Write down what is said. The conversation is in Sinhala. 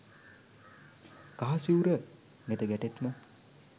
කහ සිවුර නෙත ගැටෙත්ම